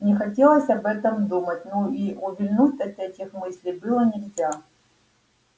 не хотелось об этом думать но и увильнуть от этих мыслей было нельзя